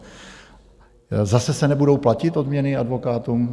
Zase se nebudou platit odměny advokátům?